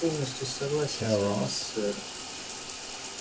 полностью согласен с вами сэр